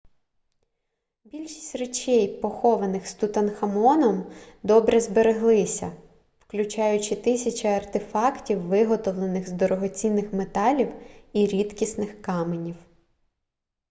більшість речей похованих з тутанхамоном добре збереглися включаючи тисячі артефактів виготовлених з дорогоцінних металів і рідкісних каменів